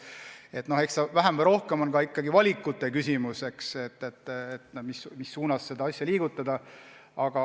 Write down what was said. Et eks ta vähem või rohkem ole ikkagi valikute küsimus, mis suunas edasi liikuda.